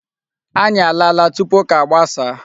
Anyị alaala tupu ụka gbasaa.